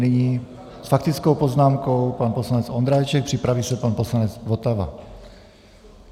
Nyní s faktickou poznámkou pan poslanec Ondráček, připraví se pan poslanec Votava.